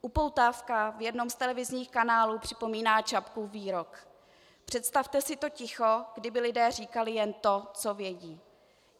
Upoutávka v jednom z televizních kanálů připomíná Čapkův výrok: "Představte si to ticho, kdyby lidé říkali jen to, co vědí."